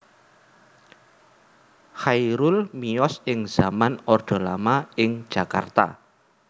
Chairul miyos ing zaman orde lama ing Jakarta